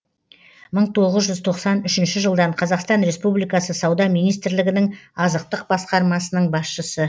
мың тоғыз жүз тоқсан үшінші жылдан қазақстан республикасы сауда министрлігінің азықтық басқармасының басшысы